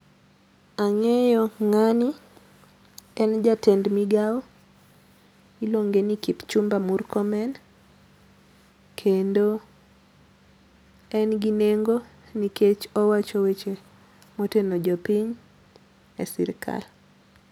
Ang'eyo ng'ani, en jatend migao, iluonge ni Kipchumba Murkomen, kendo en gi nengo nikech owacho weche moteno jopiny e sirikal